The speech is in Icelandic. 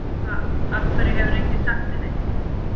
Hva, af hverju hefur enginn sagt mér neitt?